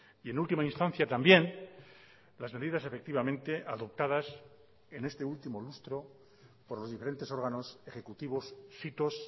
y en última instancia también las medidas efectivamente adoptadas en este último lustro por los diferentes órganos ejecutivos sitos